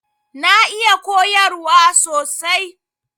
Na iya koyarwa sosai.